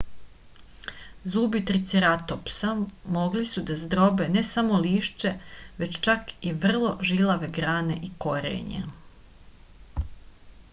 zubi triceratopsa mogli su da zdrobe ne samo lišće već čak i vrlo žilave grane i korenje